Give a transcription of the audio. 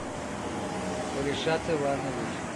ришат иванович